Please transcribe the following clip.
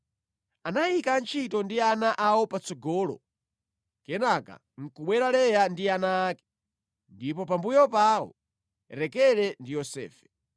Anayika antchito ndi ana awo patsogolo, kenaka nʼkubwera Leya ndi ana ake, ndipo pambuyo pawo Rakele ndi Yosefe.